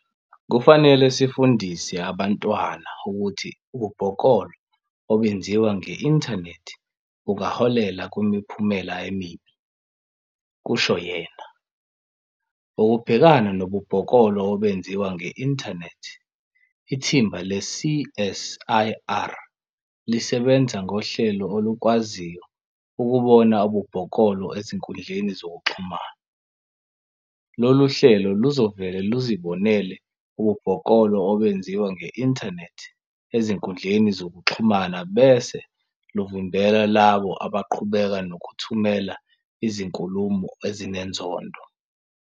"Kufanele sifundise abantwana ukuthi ububhoklolo obenziwa nge-inthanethi bungaholela kwimiphumela emibi," kusho yena. Ukubhekana nobubhoklolo obenziwa nge-inthanethi, ithimba le-CSIR lisebenza ngohlelo olukwaziyo ukubona ububhoklolo ezinkundleni zokuxhumana. "Lolu hlelo luzovele luzibonele ububhoklolo obenziwa nge-inthanethi ezinkundleni zokuxhumana bese luvimbela labo abaqhubeka nokuthumela izinkulumo ezinenzondo.